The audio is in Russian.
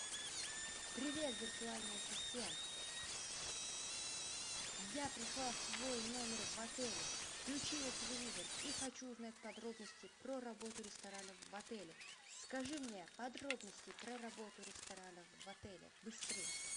привет виртуальный ассистент я пришла в свой номер в отеле включила телевизор и хочу узнать подробности про работу ресторанов в отеле скажи мне подробности про работу ресторанов в отеле быстрее